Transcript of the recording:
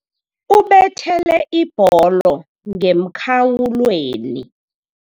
Ubethele ibholo ngemkhawulweni.